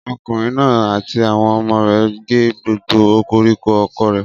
Ọkùnrin náà àti àwọn ọmọ rẹ̀ gé gbogbo koríko oko rẹ̀.